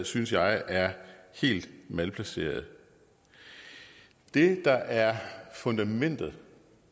synes jeg er helt malplaceret det der er fundamentet